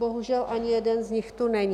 Bohužel, ani jeden z nich tu není.